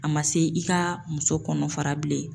A ma se i ka muso kɔnɔfara bilen.